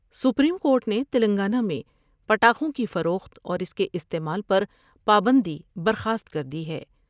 Supreme Court نے تلنگانہ میں پٹاخوں کی فروخت اور اس کے استعمال پر پابندی برخاست کر دی ہے ۔